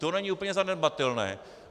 To není úplně zanedbatelné.